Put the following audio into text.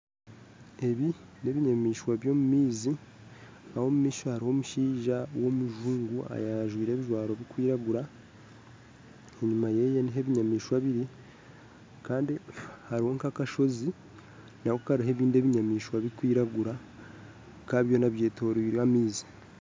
Ebi n'ebinyamaishwa ebyomu maizi aho omu maisho haroho omushaija owomuzungu ayajwaire ebijwaro ebikwiragura enyuma yeye nuho ebinyamaishwa biri kandi hariho nk'akashozi nako kariho ebindi ebinyamaishwa ebikwiragura bikaba byona byetoirirwe amaizi